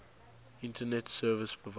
internet service provider